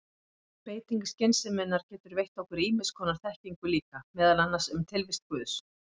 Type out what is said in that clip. Beiting skynseminnar getur veitt okkur ýmiss konar þekkingu líka, meðal annars um tilvist guðs.